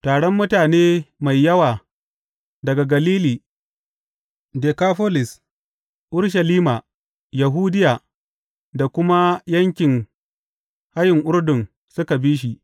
Taron mutane mai yawa daga Galili, Dekafolis, Urushalima, Yahudiya da kuma yankin hayin Urdun suka bi shi.